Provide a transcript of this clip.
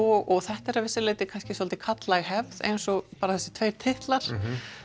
og þetta er að vissu leyti dálítið karllæg hefð eins og bara þessir tveir titlar